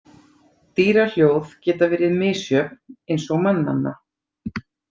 Dýrahljóð geta verið misjöfn eins og mannanna.